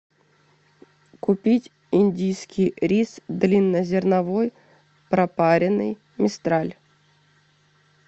купить индийский рис длиннозерновой пропаренный мистраль